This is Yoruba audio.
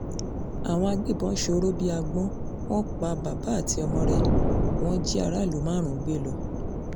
àwọn agbébọn sọ̀rọ̀ bíi agbọ̀n wọn pa bàbá àti ọmọ rẹ̀ wọn jí aráàlú márùn-ún gbé lọ